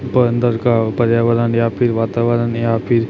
ऊपर अन्दर का पर्यावरण या फिर वातावरण या फिर--